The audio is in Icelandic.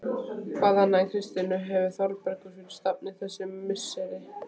Hvað annað en Kristínu hefur Þórbergur fyrir stafni þessi misseri?